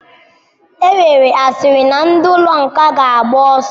Enwere asịrị na ndi ụlọ nga ga agba oso.